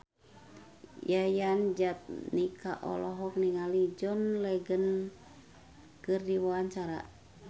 Yayan Jatnika olohok ningali John Legend keur diwawancara